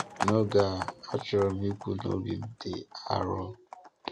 N’oge a, achọ̀ròm ikwu na obi m dị arọ.